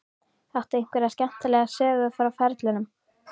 Áttu einhverja skemmtilega sögu frá ferlinum?